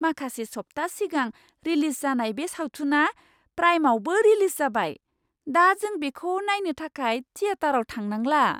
माखासे सप्ताह सिगां रिलिज जानाय बे सावथुना प्राइमआवबो रिलिज जाबाय। दा जों बेखौ नायनो थाखाय थिएटाराव थांनांला।